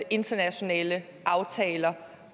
internationale aftaler